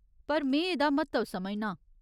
पर में एह्दा म्हत्तव समझनां।